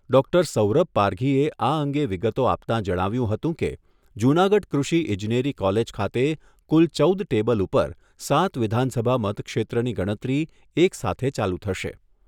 Doctor Saurabh પારઘીએ આ અંગે વિગતો આપતાં જણાવ્યુંં હતું કે જૂનાગઢ કૃષિ ઇજનેરી કોલેજ ખાતે કુલ ચૌદ ટેબલ ઉપર સાત વિધાનસભા મતક્ષેત્રની ગણતરી એક સાથે ચાલુ થશે.